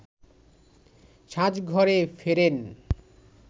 সাজঘরে ফেরেন